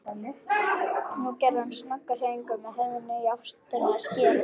Nú gerði hann snögga hreyfingu með höfðinu í áttina að skíðalyftunni.